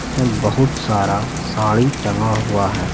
इसम बहुत सारा साड़ी टंगा हुआ है।